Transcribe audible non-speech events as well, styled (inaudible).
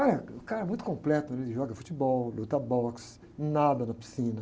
(unintelligible) o cara muito completo, (unintelligible) joga futebol, luta boxe, nada na piscina.